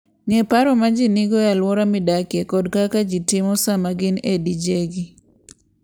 Ng'e paro ma ji nigo e alwora midakie kod kaka ji timo sama gin e dijegi.